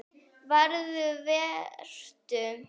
Farðu- Vertu.